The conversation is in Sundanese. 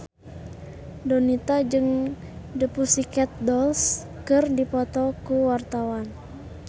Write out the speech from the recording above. Donita jeung The Pussycat Dolls keur dipoto ku wartawan